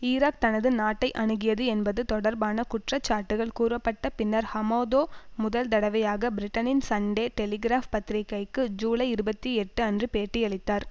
Iraq தனது நாட்டை அணுகியது என்பது தொடர்பான குற்றச்சாட்டுக்கள் கூறப்பட்ட பின்னர் ஹமாதோ முதல் தடவையாக பிரிட்டனின் சன்டே டெலிகிராப் பத்திரிகைக்கு ஜூலைஇருபத்தி எட்டுஅன்று பேட்டியளித்தார்